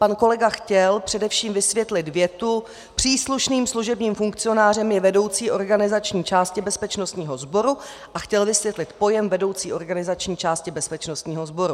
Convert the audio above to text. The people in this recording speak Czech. Pan kolega chtěl především vysvětlit větu "Příslušným služebním funkcionářem je vedoucí organizační části bezpečnostního sboru." a chtěl vysvětlit pojem vedoucí organizační části bezpečnostního sboru.